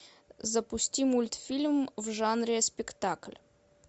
запусти мультфильм в жанре спектакль